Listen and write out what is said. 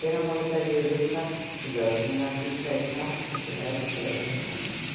Í fyrramálið fer ég í viðtal til lögreglunnar- líklega í snarvitlausu veðri, segir hann hikandi.